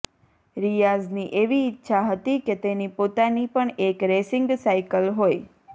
રિયાઝની એવી ઈચ્છા હતી કે તેની પોતાની પણ એક રેસિંગ સાઈકલ હોય